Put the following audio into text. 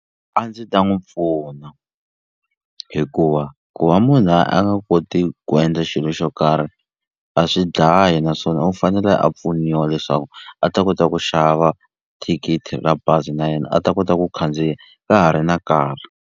A ndzi ta n'wi pfuna hikuva ku va munhu a nga koti ku endla xilo xo karhi a swi dlayi naswona u fanele a pfuniwa leswaku a ta kota ku xava thikithi ra bazi na yena a ta kota ku khandziya ka ha ri na nkarhi.